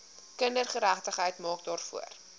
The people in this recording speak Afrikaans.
kindergeregtigheid maak daarvoor